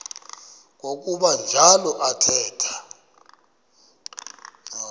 kwakuba njalo athetha